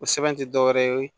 O sɛbɛn ti dɔwɛrɛ ye